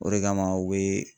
O de kama u bɛ